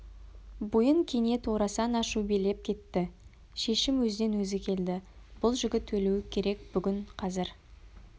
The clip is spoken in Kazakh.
бойын кенет орасан ашу билеп кетті шешім өзінен өзі келді бұл жігіт өлуі керек бүгін қазір